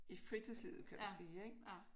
I fritidslivet kan du sige ik